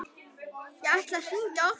Ég ætlaði að hringja oftar.